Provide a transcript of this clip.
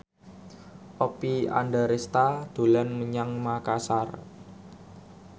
Oppie Andaresta dolan menyang Makasar